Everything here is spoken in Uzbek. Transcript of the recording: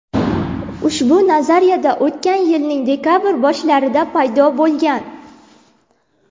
Ushbu nazariya o‘tgan yilning dekabr boshlarida paydo bo‘lgan.